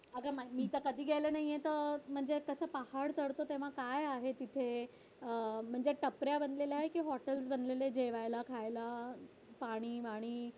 असं मी तर कधी गेलो नाहीये तिथे तर पहाड चढतो तेव्हा काय आहे तिथे अह म्हणजे टपऱ्या बनलेल्या आहेत कि हॉटेल्स बनलेले आहेत जेवायला खायला पाणी वाणी